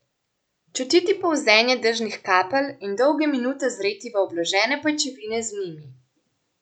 Čutiti polzenje dežnih kapelj in dolge minute zreti v obložene pajčevine z njimi.